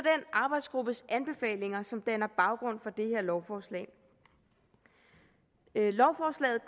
arbejdsgruppes anbefalinger som danner baggrund for det her lovforslag lovforslaget